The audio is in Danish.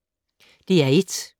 DR1